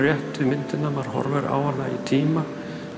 við myndina maður horfir á hana í tíma